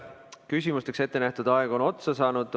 Küsimusteks ette nähtud aeg on otsa saanud.